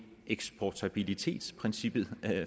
eksportabilitetsprincippet